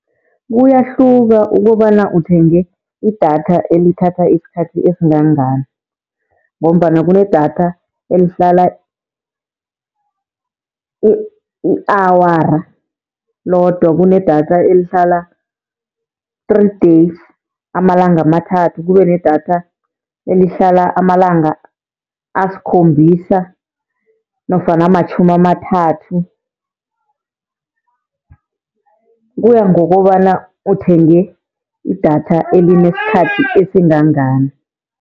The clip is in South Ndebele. Kuyahluka ukobana uthenge idatha elithatha isikhathi esingangani, ngombana kunedatha elihlala i-awara lodwa, kunedatha elihlala-three days, amalanga amathathu. Kube nedatha elihlala amalanga asikhombisa nofana amatjhumi amathathu, kuya ngokobana uthenge idatha elinesikhathi esingangani.